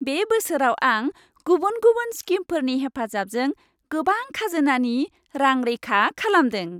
बे बोसोराव आं गुबुन गुबुन स्किमफोरनि हेफाजाबजों गोबां खाजोनानि रां रैखा खालामदों।